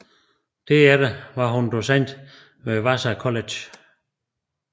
Derefter var hun docent ved Vassar College